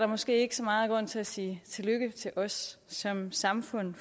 måske ikke så meget grund til at sige tillykke til os som samfund